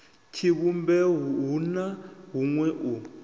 tshivhumbeo hu na huṅwe u